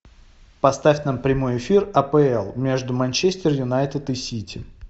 поставь нам прямой эфир апл между манчестер юнайтед и сити